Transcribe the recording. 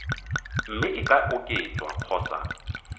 mme e ka oketswa kgotsa